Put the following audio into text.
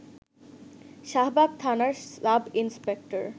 শাহবাগ থানার sub inspector